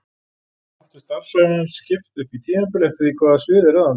Oft er starfsævi hans skipt upp í tímabil eftir því hvaða svið er ráðandi.